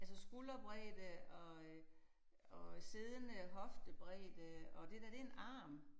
Altså skulderbredde og øh og øh siddende hoftebredde og det dér det en arm